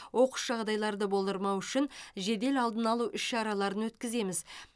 оқыс жағдайларды болдырмау үшін жедел алдын алу іс шараларын өткіземіз